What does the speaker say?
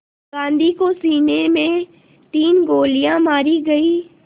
गांधी को सीने में तीन गोलियां मारी गईं